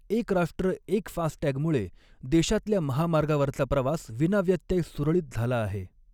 एक राष्ट्र एक फास्टटॅगमुळे देशातल्या महामार्गावरचा प्रवास विनाव्यत्यय, सुरळीत झाला आहे.